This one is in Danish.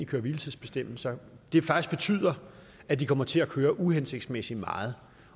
køre hvile tids bestemmelser faktisk betyder at de kommer til at køre uhensigtsmæssigt meget